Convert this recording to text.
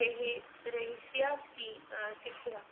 ਰਿਹਾ~ ਰਿਹਾਇਸੀ ਸਕੀ ਅਹ ਸਿੱਖਿਆ।